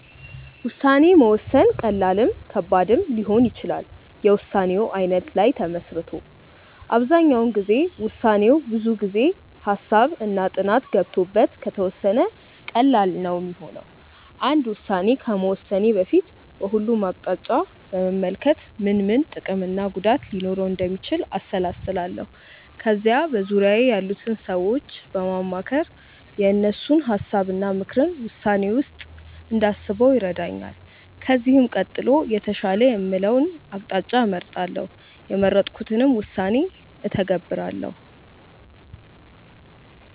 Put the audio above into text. ውሳኔ መወሰን ቀላልም ከባድም ሊሆን ይችላል የውሳኔው አይነት ላይ ተመስርቶ። አብዛኛው ጊዜ ውሳኔው ላይ ብዙ ጊዜ፣ ሃሳብ እና ጥናት ገብቶበት ከተወሰነ ቀላል ነው ሚሆነው። አንድ ውስን ከመወሰኔ በፊት በሁሉም አቅጣጫ በመመልከት ምን ምን ጥቅም እና ጉዳት ሊኖረው እንደሚችል አሰላስላለው። ከዛ በዙርያዬ ያሉትን ሰዎች በማማከር የእነሱን ሀሳብ እና ምክርን ውሳኔዬ ውስጥ እንዳስበው ይረዳኛል። ከዚህም ቀጥሎ የተሻለ የምለውን አቅጣጫ እመርጣለው። የመረጥኩትንም ውሳኔ እተገብራለው።